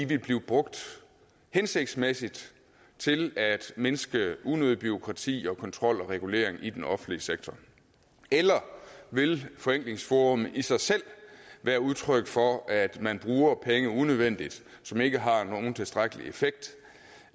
vil blive brugt hensigtsmæssigt til at mindske unødigt bureaukrati kontrol og regulering i den offentlige sektor eller vil forenklingsforummet i sig selv være udtryk for at man bruger penge unødvendigt så de ikke har nogen tilstrækkelig effekt